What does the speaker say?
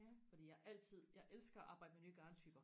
fordi jeg altid jeg elsker og arbejde med nye garntyper